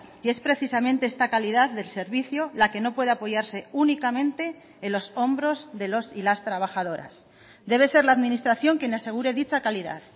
y es precisamente esta calidad del servicio la que no puede apoyarse únicamente en los hombros de los y las trabajadoras debe ser la administración quien asegure dicha calidad